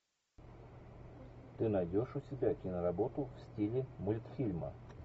ты найдешь у себя киноработу в стиле мультфильма